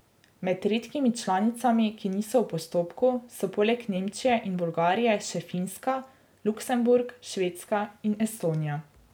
Med redkimi članicami, ki niso v postopku, so poleg Nemčije in Bolgarije še Finska, Luksemburg, Švedska in Estonija.